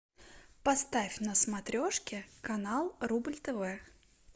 поставь на смотрешке канал рубль тв